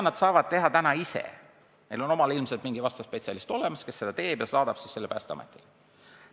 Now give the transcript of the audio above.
Nad saavad seda ise teha, neil on omal ilmselt selleks mingi spetsialist olemas, kes selle aruande teeb ja saadab selle Päästeametile.